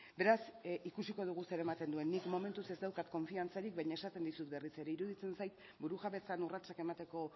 beraz ikusiko dugu zer ematen duen nik momentuz ez daukat konfiantzarik baina esaten dizut berriz ere iruditzen zait burujabetzan urratsak emateko